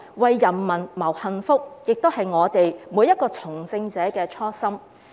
為人民謀幸福，也是每一位從政者的初心。